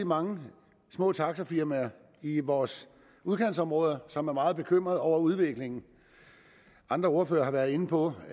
mange små taxafirmaer i vores udkantsområder som er meget bekymrede over udviklingen andre ordførere har været inde på